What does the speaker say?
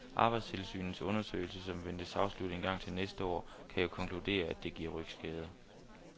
Arbejdstilsynets undersøgelse, som ventes afsluttet engang til næste år, kan jo konkludere, at det giver rygskader.